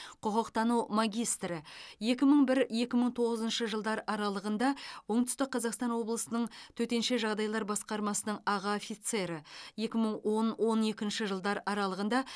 құқықтану магистрі екі мың бір екі мың тоғызыншы жылдар аралығында оңтүстік қазақстан облысының төтенше жағдайлар басқармасының аға офицері екі мың он он екінші жылдар аралығында